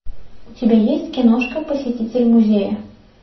у тебя есть киношка посетитель музея